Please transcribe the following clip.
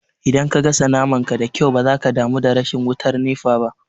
Idan ka gasa naman ka da kyau ba za ka damu da rashin wutar nefa ba